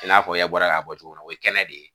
i n'a fɔ ye bɔra k'a fɔ cogo min na o ye kɛnɛ de ye